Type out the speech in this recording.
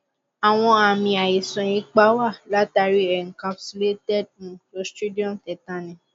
àwọn àmì àìsàn ipá wá látàrí i encapsulated um cloristridium tetani